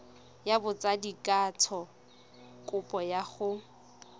ya botsadikatsho kopo ya go